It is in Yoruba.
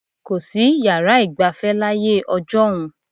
Kò sí yàrá ìgbafẹ́ láyé ọjọ́un.